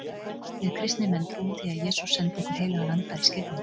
Við kristnir menn trúum því að Jesús sendi okkur heilagan anda í skírninni.